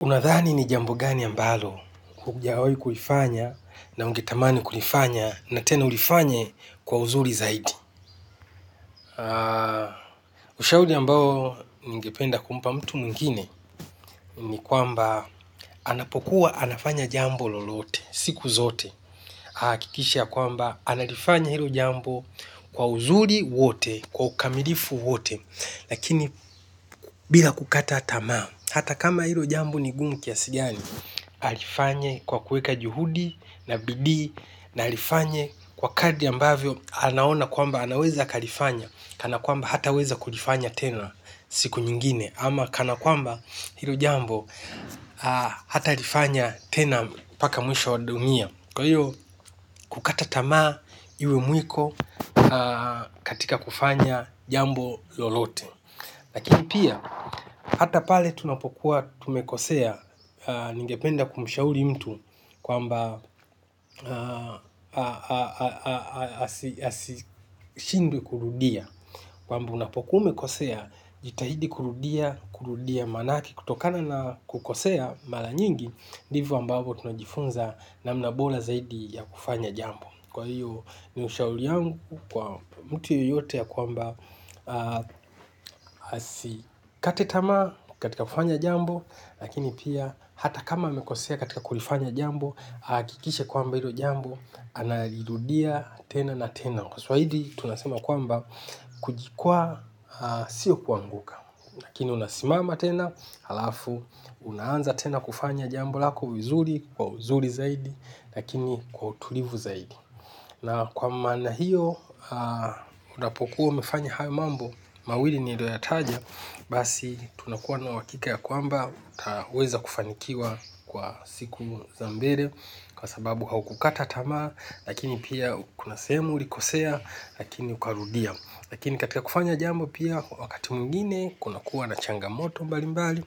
Unadhani ni jambo gani ambalo hujawai kuifanya na ungetamani kulifanya na tena ulifanye kwa uzuli zaidi. Ushauli ambao ningependa kumpa mtu mwingine. Ni kwamba anapokuwa anafanya jambo lolote siku zote kikisha kwamba analfanya hilo jambo kwa uzuri wote kwa kamilifu wote. Lakini bila kukata tamaa. Hata kama hilo jambo ni gumu kiasi gani alifanye kwa kuweka juhudi na bidii na alifanye kwa kadri ambavyo anaona kwamba anaweza kalifanya. Kana kwamba hata weza kulifanya tena siku nyingine ama kana kwamba hilo jambo hata alifanya tena paka mwisho wadunia. Kwa hiyo kukatatamaa iwe mwiko katika kufanya jambo lolote. Lakini pia, hata pale tunapokuwa tumekosea ningependa kumushauli mtu kwamba asishindwe kurudia. Kwa mba unapokuwa umekosea, jitahidi kurudia, kurudia manake kutokana na kukosea mala nyingi. Divo ambabo tunajifunza namna bola zaidi ya kufanya jambo. Kwa hiyo ni ushauli yangu kwa mtu yoyote ya kwamba asikate tamaa katika kufanya jambo. Lakini pia hata kama amekosea katika kulifanya jambo. Kikishe kwamba hilo jambo analirudia tena na tena. Kwa swaili tunasema kwamba kujikwaa sio kuanguka lakini unasimama tena. Unaanza tena kufanya jambo lako vizuri kwa uzuri zaidi. Lakini kwa utulivu zaidi na kwa mana hiyo, kudapokuwa mefanya hayo mambo, mawili nilio ya taja. Basi, tunakuwa na wakika ya kwamba, utaweza kufanikiwa kwa siku zambere. Kwa sababu haukukata tama, lakini pia kuna semu ulikosea, lakini ukarudia. Lakini katika kufanya jambo pia, wakati mungine, kuna kuwa na changamoto mbali mbali.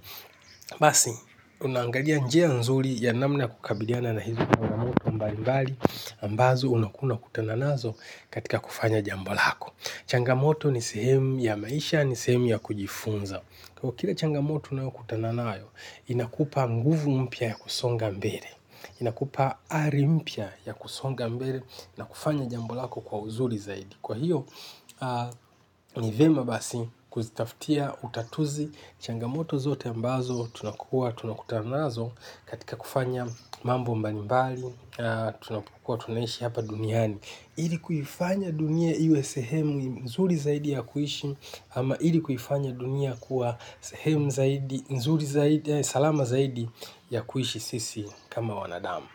Basi, unaangalia njea nzuri ya namna kukabidiana na hizu changamoto mbali mbali ambazo unakuna kutananazo katika kufanya jambolako. Changamoto ni sehemu ya maisha ni sehemu ya kujifunza. Kwa kila changamoto nao kutananayo, inakupa mguvu mpya ya kusonga mbele. Inakupa ari mpya ya kusonga mbele na kufanya jambo lako kwa uzuri zaidi. Kwa hiyo, ni vyema basi kuzitaftia utatuzi changamoto zote ambazo tunakua, tunakutanazo katika kufanya mambo mbali mbali. Tunapokuwa tunaishi hapa duniani ali kuifanya dunia iwe sahemu nzuri zaidi ya kuishi ama ili kuifanya dunia kuwa sehemu zaidi nzuri zaidi ya salama zaidi ya kuishi sisi kama wanadamu.